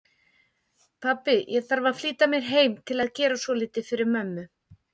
Pabbi, ég þarf að flýta mér heim til að gera svolítið fyrir mömmu